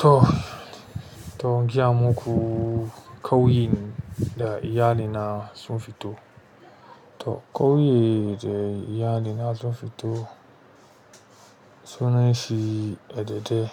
To, to giya muku kauyi da iyali na sun fito. To ƙauye da iyali na sun fito, sunan shi a dadeɗe,